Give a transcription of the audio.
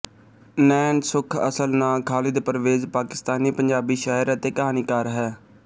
ਨੈਣ ਸੁੱਖ ਅਸਲ ਨਾਂ ਖ਼ਾਲਿਦ ਪਰਵੇਜ਼ ਪਾਕਿਸਤਾਨੀ ਪੰਜਾਬੀ ਸ਼ਾਇਰ ਅਤੇ ਕਹਾਣੀਕਾਰ ਹੈ